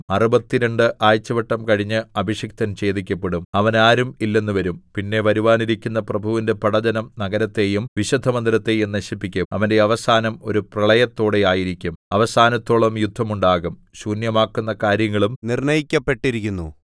അറുപത്തിരണ്ട് ആഴ്ചവട്ടം കഴിഞ്ഞ് അഭിഷിക്തൻ ഛേദിക്കപ്പെടും അവന് ആരും ഇല്ലെന്നു വരും പിന്നെ വരുവാനിരിക്കുന്ന പ്രഭുവിന്റെ പടജ്ജനം നഗരത്തെയും വിശുദ്ധമന്ദിരത്തെയും നശിപ്പിക്കും അവന്റെ അവസാനം ഒരു പ്രളയത്തോടെ ആയിരിക്കും അവസാനത്തോളം യുദ്ധമുണ്ടാകും ശൂന്യമാക്കുന്ന കാര്യങ്ങളും നിർണ്ണയിക്കപ്പെട്ടിരിക്കുന്നു